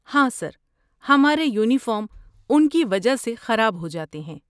ہاں سر، ہمارے یونیفارم ان کی وجہ سے خراب ہو جاتے ہیں۔